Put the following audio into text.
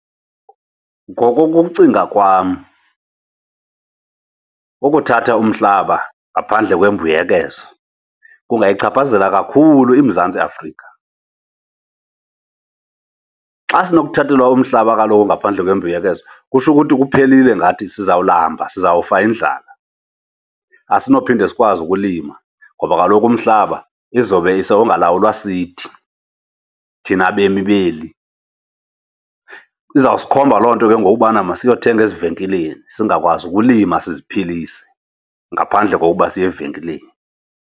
Ngokokucinga kwam ukuthatha umhlaba ngaphandle kwembuyekezo kungayichaphazela kakhulu iMzantsi Afrika. Xa sinokuthathelwa umhlaba kaloku ngaphandle kwembuyekezo, kutsho ukuthi kuphelile ngathi sizawulamba, sizawufa yindlala. Asinophinde sikwazi ukulima ngoba kaloku umhlaba izobe sewungalawulwa sithi thina bemi beli. Izawusikhomba loo nto ke ngoku ubana masiyothenga ezivenkileni singakwazi ukulima siziphilise ngaphandle kokuba siye evenkileni.